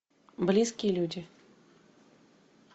близкие люди